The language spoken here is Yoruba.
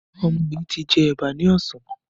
Ọmọ yìí ti jẹ ẹ̀bà ní ọ̀sán.